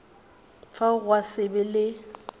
fao gwa se be le